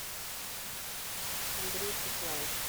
андрей пеклаев